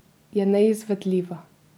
Je neizvedljiva.